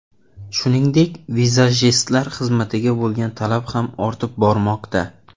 Shuningdek, vizajistlar xizmatiga bo‘lgan talab ham ortib bormoqda.